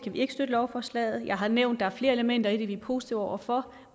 vi ikke støtte lovforslaget jeg har nævnt er flere elementer i det vi er positive over for